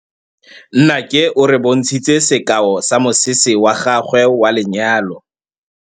Nnake o re bontshitse sekaô sa mosese wa gagwe wa lenyalo.